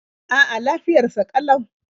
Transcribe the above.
A'a, lafiyar sa ƙalau.